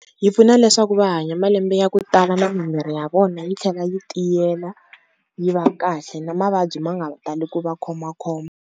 Yi pfuna leswaku va hanya malembe ya ku tala na mimiri ya vona yi tlhela yi tiyela yi va kahle, na mavabyi ma nga tali ku va khomakhoma.